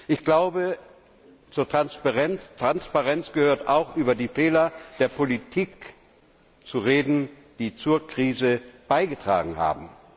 Ich glaube, zur Transparenz gehört auch, über die Fehler der Politik zu reden, die zur Krise beigetragen haben.